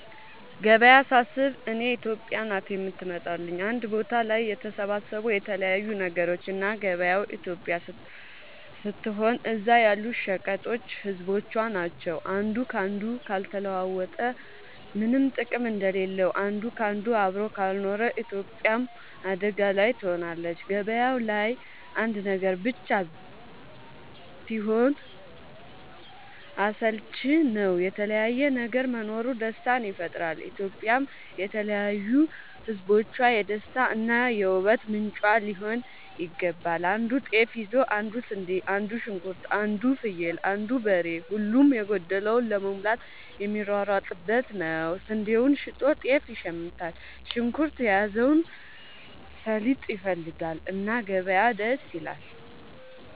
ገበያ ሳስብ እኔ ኢትዮጵያ ናት የምትመጣለኝ አንድ ቦታ ላይ የተሰባሰቡ የተለያዩ ነገሮች እና ገበያው ኢትዮጵያ ስትሆን እዛ ያሉት ሸቀጦች ህዝቦቿ ናቸው። አንዱ ካንዱ ካልተለዋወጠ ምነም ጥቅም እንደሌለው አንድ ካንዱ አብሮ ካልኖረ ኢትዮጵያም አደጋ ላይ ትሆናለች። ገባያው ላይ አንድ ነገር ብቻ ቢሆን አስልቺ ነው የተለያየ ነገር መኖሩ ደስታን ይፈጥራል። ኢትዮጵያም የተለያዩ ህዝቦቿ የደስታ እና የ ውበት ምንጯ ሊሆን ይገባል። አንዱ ጤፍ ይዞ አንዱ ስንዴ አንዱ ሽንኩርት አንዱ ፍየል አንዱ በሬ ሁሉም የጎደለውን ለመሙላት የሚሯሯጡበት ነው። ስንዴውን ሸጦ ጤፍ ይሽምታል። ሽንኩርት የያዘው ሰሊጥ ይፈልጋል። እና ገበያ ደስ ይላል።